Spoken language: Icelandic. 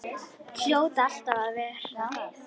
Hljóta alltaf að verða það.